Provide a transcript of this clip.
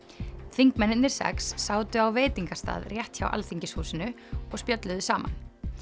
þingmennirnir sex sátu á veitingastað rétt hjá Alþingishúsinu og spjölluðu saman